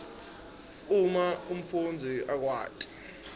uma umfundzi akwati